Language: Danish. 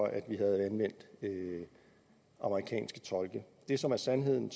at vi havde anvendt amerikanske tolke det som er sandheden